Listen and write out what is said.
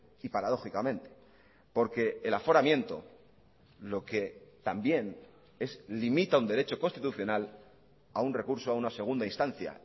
y paradójicamente porque el aforamiento lo que también es limita un derecho constitucional a un recurso a una segunda instancia